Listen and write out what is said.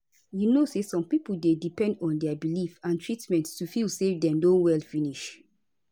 you know say some pipo dey depend on dia belief and treatment to feel say dem don well finish